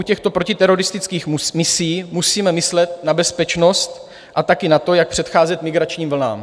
U těchto protiteroristických misí musíme myslet na bezpečnost a také na to, jak předcházet migračním vlnám.